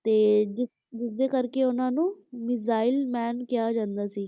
ਤੇ ਜਿਸ ਜਿਸਦੇ ਕਰਕੇ ਉਹਨਾਂ ਨੂੰ ਮਿਜ਼ਾਈਲ man ਕਿਹਾ ਜਾਂਦਾ ਸੀ,